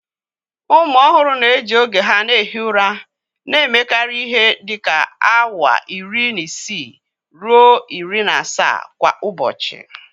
Ụmụ ọhụrụ na-eji oge ha na-ehi ụra, na-emekarị ihe dịka awa iri na isii ruo iri na asaa kwa ụbọchị